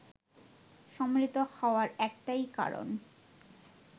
সম্মিলিত হওয়ার একটাই কারণ